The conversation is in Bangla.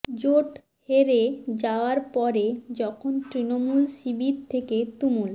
জোট হেরে যাওয়ার পরে যখন তৃণমূল শিবির থেকে তুমুল